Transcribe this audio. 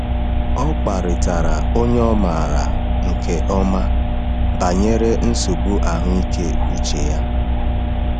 Ọ kparịtara onye ọ maara nke ọma banyere nsogbu ahụike uche ya.